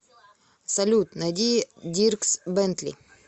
салют найди диркс бэнтли